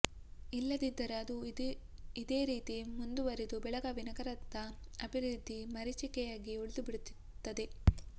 ಇಲ್ಲದಿದ್ದರೆ ಅದು ಇದೇ ರೀತಿ ಮುಂದು ವರೆದು ಬೆಳಗಾವಿ ನಗರದ ಅಭಿವೃದ್ದಿ ಮರಿಚಿಕೆಯಾಗಿ ಉಳಿದು ಬಿಡುತ್ತದೆ